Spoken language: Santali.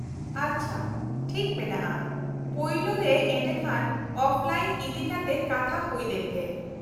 -ᱟᱪᱪᱷᱟ, ᱴᱷᱤᱠ ᱢᱮᱱᱟᱜᱼᱟ, ᱯᱳᱭᱞᱳᱨᱮ ᱮᱰᱮᱠᱷᱟᱱ ᱚᱯᱷᱞᱟᱭᱤᱱ ᱤᱫᱤᱠᱟᱛᱮ ᱠᱟᱛᱷᱟ ᱦᱩᱭ ᱞᱮᱱ ᱜᱮ ᱾